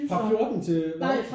Fra 14 til hvad?